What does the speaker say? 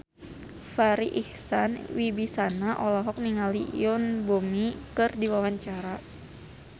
Farri Icksan Wibisana olohok ningali Yoon Bomi keur diwawancara